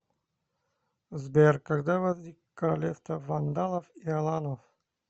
сбер когда возник королевство вандалов и аланов